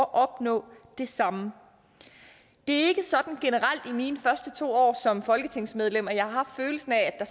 at opnå det samme det er ikke sådan generelt i mine første to år som folketingsmedlem at jeg har haft følelsen af at